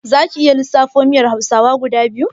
Zaku iya lissafo miyar hausawa guda biyu?